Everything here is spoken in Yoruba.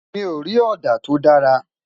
mí o rí òdà to dára